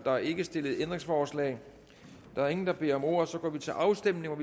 er ikke stillet ændringsforslag der er ingen der beder om ordet og så går vi til afstemning